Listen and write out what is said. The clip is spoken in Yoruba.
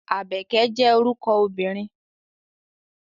Àbẹ̀kẹ́ jẹ́ orúkọ obìnrin.